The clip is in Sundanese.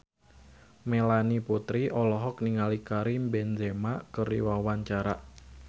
Melanie Putri olohok ningali Karim Benzema keur diwawancara